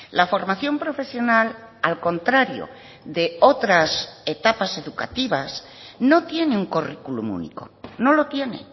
la formación profesional al contrario de otras etapas educativas no tienen currículum único no lo tiene